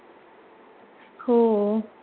हो